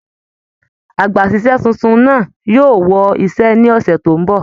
Àgbàsísẹ̀ títún náà yóò wọ iṣẹ ní ọsẹ tó n bọ.